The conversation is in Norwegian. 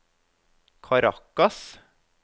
Caracas